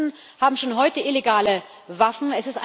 Die Terroristen haben schon heute illegale Waffen.